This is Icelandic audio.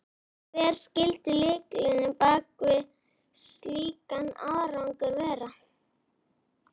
Hver skyldi lykillinn á bak við slíkan árangur vera?